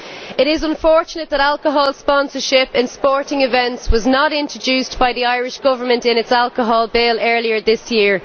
It is unfortunate that alcohol sponsorship in sporting events was not included by the Irish government in its alcohol bill earlier this year.